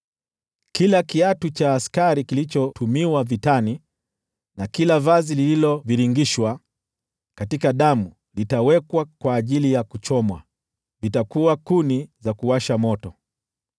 Kila kiatu cha askari kilichotumiwa vitani, na kila vazi lililovingirishwa katika damu vitawekwa kwa ajili ya kuchomwa, vitakuwa kuni za kuwasha moto.